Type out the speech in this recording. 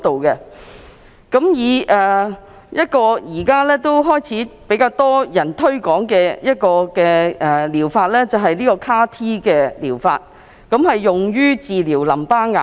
一個現在開始較多人推廣的療法是 CAR-T 療法，用於治療淋巴癌。